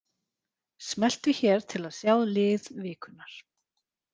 Smelltu hér til að sjá lið vikunnar